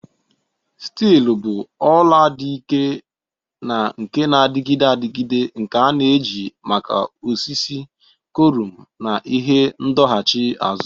Steelu bụ ọla dị ike na nke na-adịgide adịgide nke a na-eji maka osisi, kọlụm, na ihe ndọghachi azụ.